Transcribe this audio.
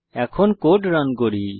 এখন code run করি